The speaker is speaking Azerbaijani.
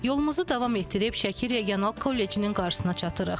Yolumuzu davam etdirib Şəki Regional Kollecinin qarşısına çatırıq.